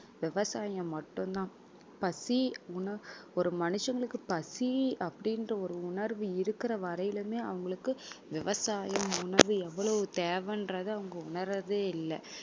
விவசாயம் மட்டும் தான் பசி ஒரு மனுஷங்களுக்கு பசி அப்படின்ற ஒரு உணர்வு இருக்குற வரையிலுமே அவங்களுக்கு விவசாயம் உணவு எவ்வளவு தேவைன்றத அவங்க உணர்வதே இல்லை